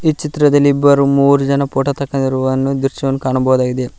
ಈ ಚಿತ್ರದಲ್ಲಿ ಇಬ್ಬರು ಮೂವರು ಜನ ಫೋಟೋ ತಕ್ಕೊದಿರುವ ದ್ರಶ್ಯವನ್ನು ಕಾಣಬಹುದಾಗಿದೆ.